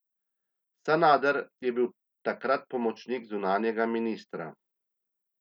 Sanader je bil takrat pomočnik zunanjega ministra.